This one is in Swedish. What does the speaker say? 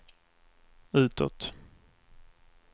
utåt